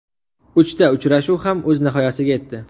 Uchta uchrashuv ham o‘z nihoyasiga yetdi.